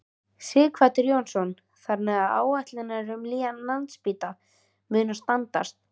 Sighvatur Jónsson: Þannig að áætlanir um nýjan Landspítala munu standast?